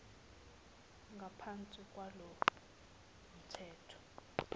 ngaphansi kwalo mthetho